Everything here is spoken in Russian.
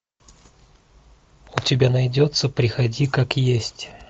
у тебя найдется приходи как есть